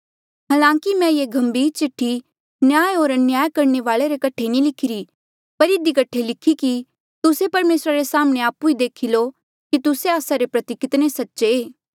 हालांकि मैं ये गंभीर चिठ्ठी न्याय होर अन्याय करणे वाले रे कठे नी लिखिरी पर इधी कठे लिखी कि तुस्से परमेसरा रे साम्हणें आपु ही देखी लो कि तुस्से आस्सा रे प्रति कितने सच्चे